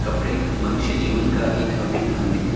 कपड़े मनुष्य जीवन का एक अभिन्न अंग है।